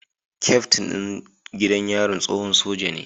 Kyaftin ɗin gidan yarin tsohon soja ne